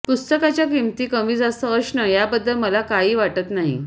पुस्तकाच्या किमती कमीजास्त असणं याबद्दल मला काही वाटत नाही